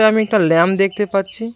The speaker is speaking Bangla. আমি একটা ল্যাম দেখতে পাচ্ছি।